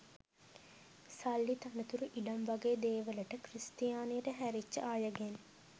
සල්ලි තනතුරු ඉඩම් වගේ දේවලට ක්‍රිස්තියානියට හැරිච්ච අයගෙන්